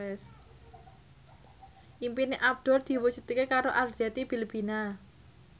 impine Abdul diwujudke karo Arzetti Bilbina